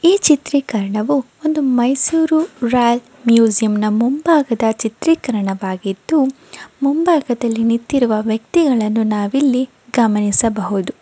ಈ ಚಿತ್ರಿಕರಣವೂ ಒಂದು ಮೈಸೂರು ರೈಲ್ ಮ್ಯೂಜಿಯಂನಾ ಮುಂಭಾಗದ ಚಿತ್ರೀಕರಣವಾಗಿದ್ದು ಮುಂಭಾಗದಲ್ಲಿ ನಿಂತಿರುವ ವ್ಯಕ್ತಿಗಳನ್ನು ನಾವು ಇಲ್ಲಿ ಗಮನಿಸಬಹುದು.